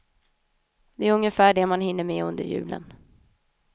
Det är ungefär det man hinner med under julen.